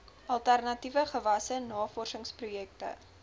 alternatiewe gewasse navorsingsprojekte